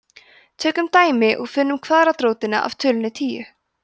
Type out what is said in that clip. tökum dæmi og finnum kvaðratrótina af tölunni tíu